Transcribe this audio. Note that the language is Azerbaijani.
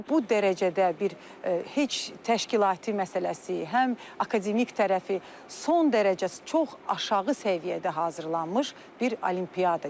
Bu dərəcədə bir heç təşkilati məsələsi, həm akademik tərəfi son dərəcə çox aşağı səviyyədə hazırlanmış bir olimpiyada gördüm.